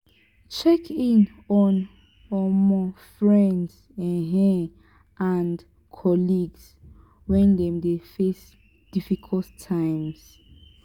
check in on um friends um and colleagues when dem dey face difficult times